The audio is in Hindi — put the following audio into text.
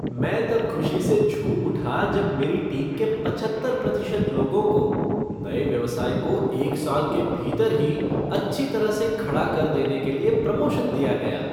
मैं तब खुशी से झूम उठा जब मेरी टीम के पचहत्तर प्रतिशत लोगों को नए व्यवसाय को एक साल के भीतर ही अच्छी तरह से खड़ा कर देने के लिए प्रमोशन दिया गया।